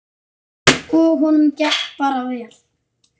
Og honum gekk bara vel.